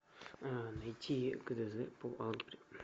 найти гдз по алгебре